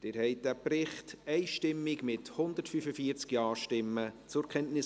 Sie haben diesen Bericht einstimmig zur Kenntnis genommen, mit 145 Ja- gegen 0 NeinStimmen bei 0 Enthaltungen.